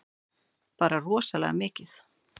Bara rosalega mikið.